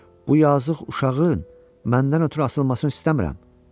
Bu yazıq uşağın məndən ötrü asılmasını istəmirəm.